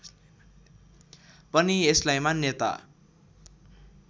पनि यसलाई मान्यता